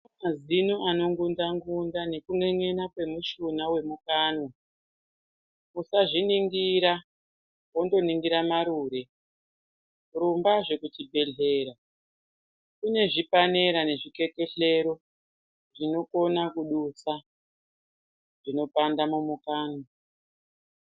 Mazino anongunja ngunja ngekun'en'ena kwemushuna wemukanwa usazviningira wondoningira marure. Rumbazve kuchibhehlera kune zvipanera nezvikekehlero zvinokona kudusa zvinopanda mumukanwa.